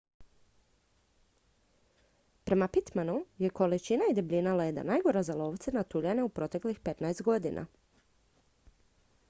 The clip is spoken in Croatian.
prema pittmanu je količina i debljina leda najgora za lovce na tuljane u proteklih 15 godina